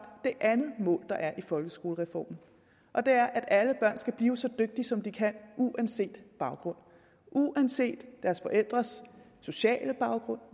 det andet mål der er i folkeskolereformen og det er at alle børn skal blive så dygtige som de kan uanset baggrund uanset deres forældres sociale baggrund